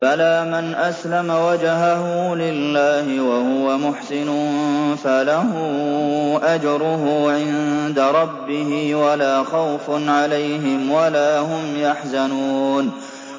بَلَىٰ مَنْ أَسْلَمَ وَجْهَهُ لِلَّهِ وَهُوَ مُحْسِنٌ فَلَهُ أَجْرُهُ عِندَ رَبِّهِ وَلَا خَوْفٌ عَلَيْهِمْ وَلَا هُمْ يَحْزَنُونَ